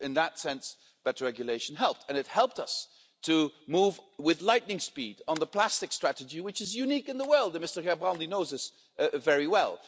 So, in that sense, better regulation helped and it helped us to move with lightning speed on the plastic strategy, which is unique in the world and Mr Gerbrandy knows this very well.